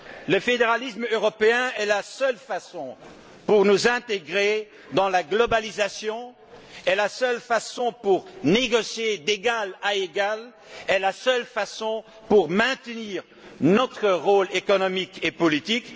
Le fédéralisme européen est la seule façon de nous intégrer dans la mondialisation, la seule façon de négocier d'égal à égal et la seule façon de maintenir notre rôle économique et politique.